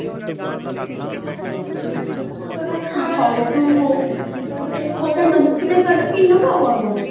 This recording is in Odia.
ହଉ ତୁ ତାହାଲେ ଦିଟା ଶାଢୀ କିଣିଦବୁ ଆଉ କଣ କହୁଛୁ